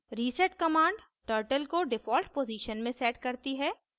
reset command turtle को default position में sets करती है